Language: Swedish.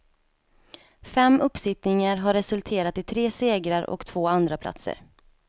Fem uppsittningar har resulterat i tre segrar och två andraplatser.